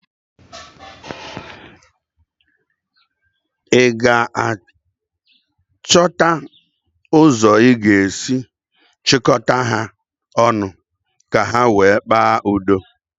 ị ga-achọta ụzọ ị ga-esi chịkọta ha ọnụ ka ha wee kpaa nkata Udo?